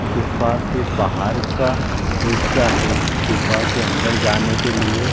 गुफा के बाहर का हिस्सा है। गुफा के अंदर जाने के लिए --